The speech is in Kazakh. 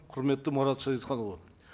құрметті марат шәдетханұлы